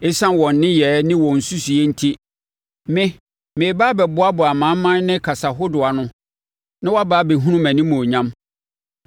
“Esiane wɔn nneyɛɛ ne wɔn nsusuiɛ enti, me, mereba abɛboaboa amanaman ne kasa ahodoɔ ano, na wɔbɛba abɛhunu mʼanimuonyam.